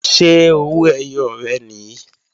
Ṣé owó ẹyọ rẹ̀ nìí?